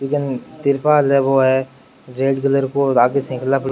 बि कैन तिरपाल है बो है जेड कलर को आगे साइकिल --